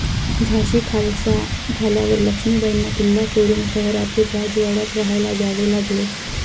झाशी खालसा झाल्यावर लक्ष्मीबाईंना किल्ला सोडून शहरातील राजवाड्यात राहायला यावे लागले.